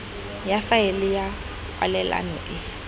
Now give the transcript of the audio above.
ya faele ya kwalelano e